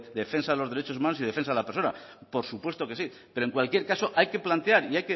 defensa de los derechos humanos y de defensa de la persona por supuesto que sí pero en cualquier caso hay que plantear y